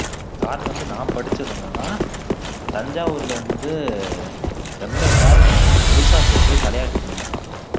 காரணம் வந்து நான் படிச்சது என்னன்னா தஞ்சாவூர்ல வந்து ரொம்ப எல்லாரும் பெருசா பேசுறது தலையாட்டி பொம்மைதான்